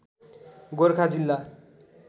गोरखा जिल्ला